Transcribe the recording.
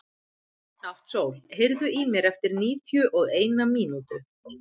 Náttsól, heyrðu í mér eftir níutíu og eina mínútur.